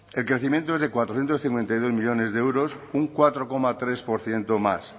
el crecimiento es de cuatrocientos cincuenta y dos millónes de euros un cuatro coma tres por ciento más